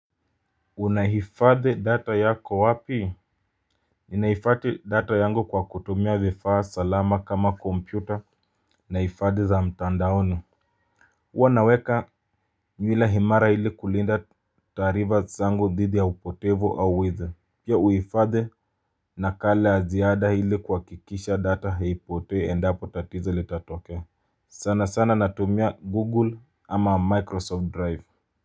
Unahifadhi data yako wapi? Ninaifadhi data yangu kwa kutumia vifaa salama kama kompyuta na ifadhi za mtandaoni. Uwa naweka nwila himara ili kulinda tarifa zangu dhidi ya upotevo au wizi. Pia uifadhi nakala ya ziada ili kuhakikisha data haipotee endapo tatizo litatokea. Sana sana natumia google ama microsoft drive.